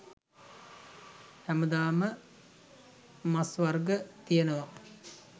හැමදාම මස් වර්ග තියෙනවා